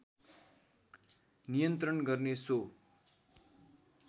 नियन्त्रण गर्ने सो